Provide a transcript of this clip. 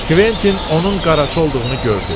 Kventin onun qaraçı olduğunu gördü.